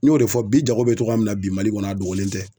N y'o de fɔ bi jago bɛ cogoya min na bi Mali kɔnɔ a dogolen tɛ.